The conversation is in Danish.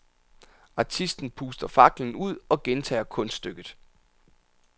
Artisten puster faklen ud og gentager kunststykket.